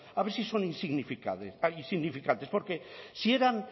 a ver si son insignificantes por qué si eran